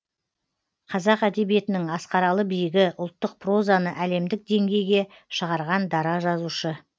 қазақ әдебиетінің асқаралы биігі ұлттық прозаны әлемдік деңгейге шығарған дара жазушы